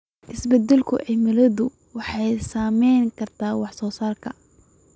Isbeddelka cimiladu waxay saameyn kartaa wax soo saarka.